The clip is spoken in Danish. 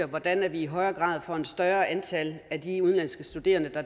hvordan vi i højere grad får et større antal af de udenlandske studerende